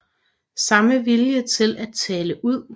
Samme vilje til at tale ud